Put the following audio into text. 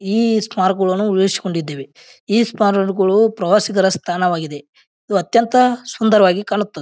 ಈ ಸ್ಮಾರಕವನ್ನು ಉಳಿಸಿಕೊಂಡಿದ್ದೇವೆ ಈ ಸ್ಮಾರಕಗಳು ಪ್ರವಾಸಿಗರ ತಾಣವಾಗಿದೆ ಇದು ಅತ್ಯಂತ ಸುಂದರವಾಗಿ ಕಾಣುತ್ತದೆ.